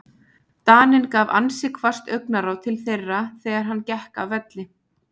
Daninn gaf ansi hvasst augnaráð til þeirra þegar hann gekk af velli.